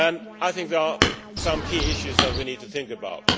I think there are some key issues that we need to think about.